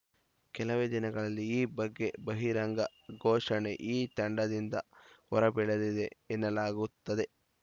ಕೆಲವೇ ದಿನಗಳಲ್ಲಿ ಈ ಬಗ್ಗೆ ಬಹಿರಂಗ ಘೋಷಣೆ ಈ ತಂಡದಿಂದ ಹೊರಬೀಳಲಿದೆ ಎನ್ನಲಾಗುತ್ತಿದೆ